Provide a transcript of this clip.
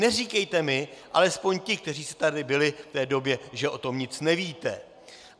Neříkejte mi, alespoň ti, kteří jste tady byli v té době, že o tom nic nevíte.